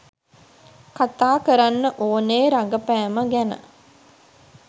කතා කරන්න ඕනේ රඟපෑම ගැන.